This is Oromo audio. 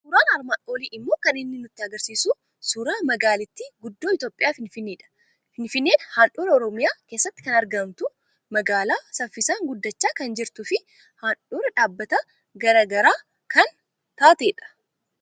Suuraan armaan olii immoo kan inni nutti argisiisu suuraa magaalittii guddoo Itoophiyaa Finfinneedha. Finfinneen handhuura Oromiyaa keessatti kan argamtu, magaalaa saffisaan guddachaa kan jirtuu fi handhuura dhaabbata gara garaa kan taatedha.